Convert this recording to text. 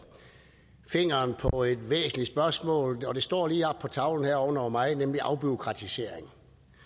fingeren på et væsentligt spørgsmål og det står lige oppe på tavlen oven over mig nemlig afbureaukratisering